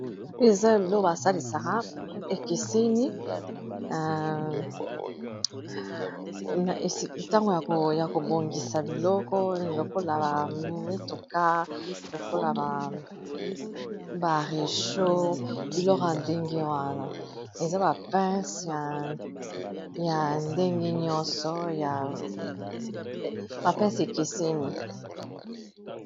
Oyo, eza biloko ba salisaka ekeseni. Tango ya ko bongisa biloko, lokola ba mituka, lokola ba recho ; biloko ya ndenge wana. Eza ba pince ya ndenge nyonso, ba pince ekeseni.